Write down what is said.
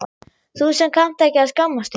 Þú sem kannt ekki að skammast þín.